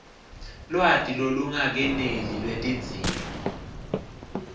lwati lolungakeneli lwetidzingo